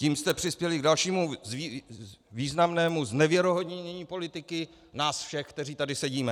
Tím jste přispěli k dalšímu významnému znevěrohodnění politiky nás všech, kteří tady sedíme.